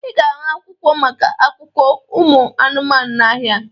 Ị ga-ahụ akwụkwọ maka akụkọ ụmụ anụmanụ n'ahịa